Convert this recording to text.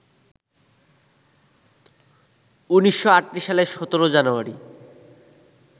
১৯৩৮ সালের ১৭ জানুয়ারি